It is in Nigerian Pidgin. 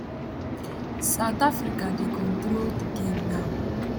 south africa dey control di game now